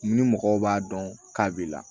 Ni mɔgɔw b'a dɔn k'a b'i la